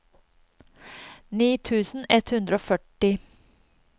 ni tusen ett hundre og førti